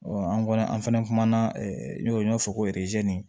an kɔni an fɛnɛ kumana n'o ye ɲɔ fɔ ko